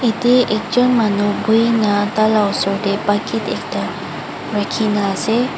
yati ekjon manu buhina taila osor teh bucket ekta rakhina ase.